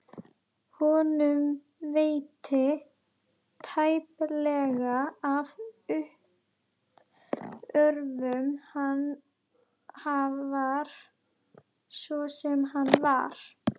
Honum veitti tæplega af uppörvun, hvar svo sem hann var.